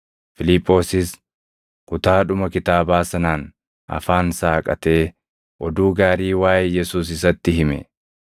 Fiiliphoosis kutaadhuma kitaabaa sanaan afaan saaqatee oduu gaarii waaʼee Yesuus isatti hime.